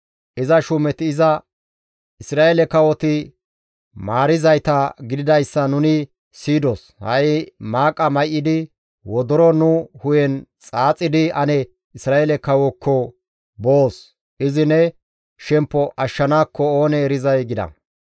Iza shuumeti iza, «Isra7eele kawoti maarizayta gididayssa nuni siyidos; ha7i maaqa may7idi, wodoro nu hu7en xaaxidi ane Isra7eele kawookko boos. Izi ne shemppo ashshanaakko oonee erizay» gida.